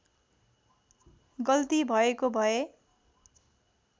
गल्ती भएको भए